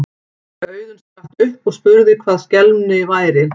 Auðunn spratt upp og spurði hvað skelmi þar væri.